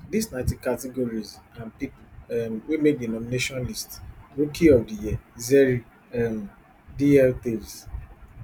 dis na di categories and pipo um wey make di nomination list rookie of di year zerry um dl taves